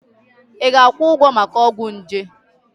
Ị ga-akwụ ụgwọ maka ọgwụ nje?